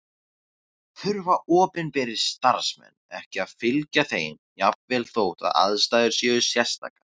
Þurfa opinberir starfsmenn ekki að fylgja þeim jafnvel þótt aðstæður séu sérstakar?